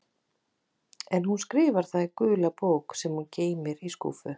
En hún skrifar það í gula bók sem hún geymir í skúffu.